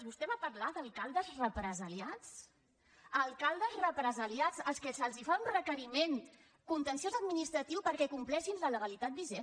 vostè va parlar d’ alcaldes represaliats alcaldes represaliats els que se’ls fa un requeriment contenciós administratiu perquè compleixin la legalitat vigent